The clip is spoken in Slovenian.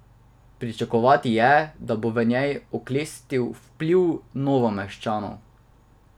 Pričakovati je, da bo v njej oklestil vpliv Novomeščanov.